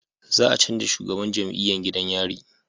Za a canja shugaban jam'iyan gidan yari